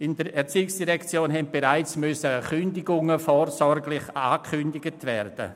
In der ERZ mussten bereits Entlassungen vorsorglich angekündigt werden.